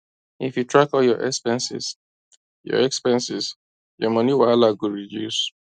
if you track all your expenses your expenses your money wahala go reduce